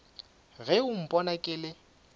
ge o mpona ke le